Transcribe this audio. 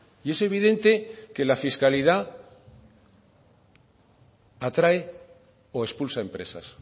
y es evidente que la fiscalidad atrae o expulsa empresas